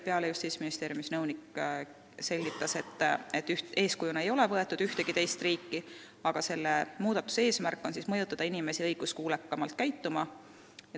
Justiitsministeeriumi nõunik selgitas, et eeskujuks ei ole võetud ühtegi teist riiki, aga selle muudatuse eesmärk on mõjutada inimesi õiguskuulekamalt käituma.